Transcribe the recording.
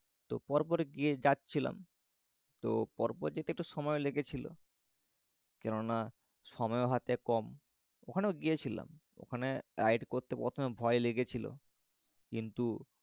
তো পর পর গিয়ে যাচ্ছিলাম। তো পর পর যেতে একটু সময় লেগেছিল। কেননা সময় হাতে কম। অখানেও গিয়েছিলাম। ওখানে ride করতে প্রথমে ভয় লেগেছিল। কিন্তু